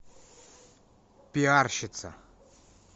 пиарщица